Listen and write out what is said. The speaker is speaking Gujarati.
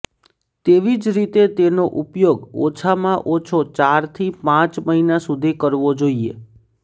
તેવી જ રીતે તેનો ઉપયોગ ઓછામાં ઓછો ચારથી પાંચ મહિના સુધી કરવો જોઈએ